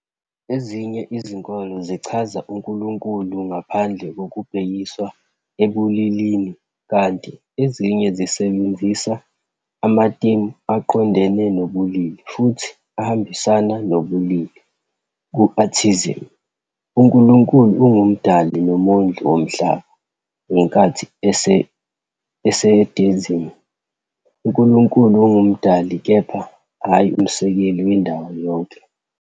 Ezinye izinkolo zichaza uNkulunkulu ngaphandle kokubhekiswa ebulilini, kanti ezinye zisebenzisa amatemu aqondene nobulili futhi ahambisana nobulili. Ku-atheism, uNkulunkulu ungumdali nomondli womhlaba, ngenkathi ese-deism, uNkulunkulu ungumdali, kepha hhayi umsekeli, wendawo yonke.